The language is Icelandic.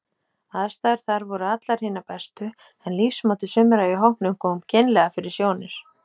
Aðstæður þar voru allar hinar bestu, en lífsmáti sumra í hópnum kom kynlega fyrir sjónir.